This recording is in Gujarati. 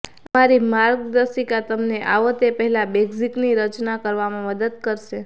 અમારી માર્ગદર્શિકા તમને આવો તે પહેલાં બૅઝિક્સની રચના કરવામાં મદદ કરશે